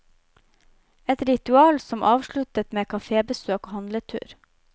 Et ritual som avsluttes med cafébesøk og handletur.